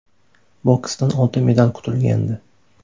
Boksdan oltin medal kutilgandi.